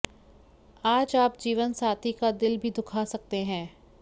आज आप जीवनसाथी का दिल भी दुखा सकते हैं